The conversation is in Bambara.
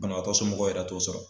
Banabaatɔ somɔgɔw yɛrɛ t'o sɔrɔ